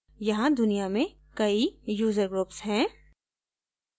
यहाँ दुनिया में कई user groups हैं